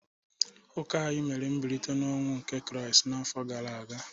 Ụka anyị mere mbilite n’ọnwụ nke Kraịst n’afọ gara aga.